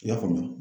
I y'a faamu